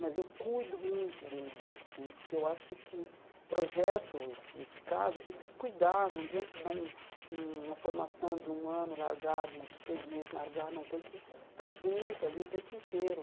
Mas eu cuido muito deles, assim, porque eu acho que projeto, nesse caso, a gente tem que cuidar, não adianta dar um um uma formação de um ano, largar, de de seis meses, largar, não tem que estar junto ali o tempo inteiro.